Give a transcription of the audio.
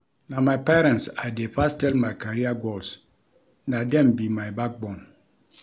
Na my parents I dey first tell my career goals na dem be my backbone.